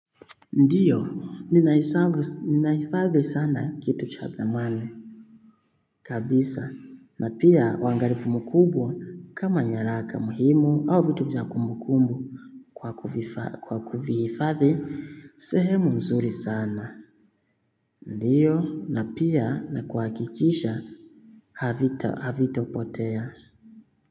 Ndiyo, ninaifadhi sana kitu cha thamani. Kabisa, na pia wangalifu mkubwa kama nyaraka muhimu au vitu za kumukumbu kwa kuvihifadhi sehemu nzuri sana. Ndiyo, na pia na kuhakikisha havitapotea.